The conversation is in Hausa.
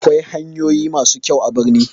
Akwai hanyoyi masu kyau a birni